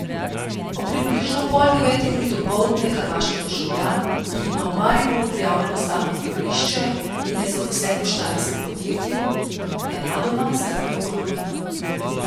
Ob približno pol deveti uri dopoldne je hrvaški državljan, ki ima v Mariboru prijavljeno stalno bivališče in je zaposlen v štajerskem podjetju, nenadoma zgrmel v globino.